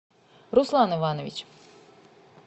руслан иванович